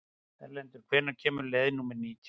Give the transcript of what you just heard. Erlendur, hvenær kemur leið númer nítján?